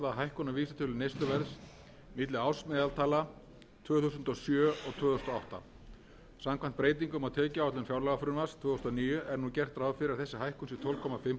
hækkun á vísitölu neysluverðs milli ársmeðaltala tvö þúsund og sjö og tvö þúsund og átta samkvæmt breytingum á tekjuáætlun fjárlagafrumvarps tvö þúsund og níu er nú gert ráð fyrir að þessi hækkun sé tólf og hálft prósent og